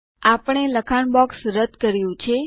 આપણે લખાણ બોક્સ દૂર કર્યું છે